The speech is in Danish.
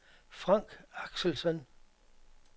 Frank Axelsen